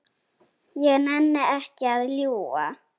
Ég nenni ekki að ljúga.